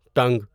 ٹنگ